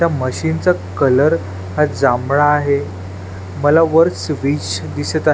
या मशीन चा कलर हा जामळा आहे मला वर स्विच दिसत आहे.